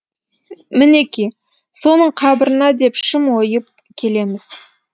мінеки соның қабырына деп шым ойып келеміз